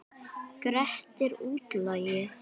Grettir útlagi.